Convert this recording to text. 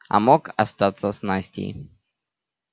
а мог остаться с настей